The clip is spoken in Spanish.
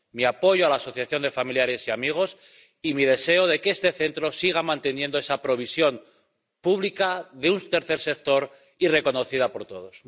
Mi apoyo a la asociación de familiares y amigos y mi deseo de que este Centro siga manteniendo esa provisión pública de un tercer sector y reconocida por todos.